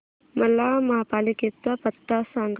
मला महापालिकेचा पत्ता सांग